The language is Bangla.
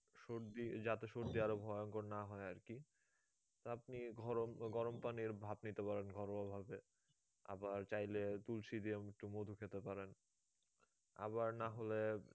সর্দি যাতে সর্দি আরো ভয়ংকর না হয়ে আর কি আপনি ঘরম গরম পানির ভাপ নিতে পারেন ঘরোয়া ভাবে আবার চাইলে তুলসী দিয়ে একটু মধু খেতে পারেন আবার না হলে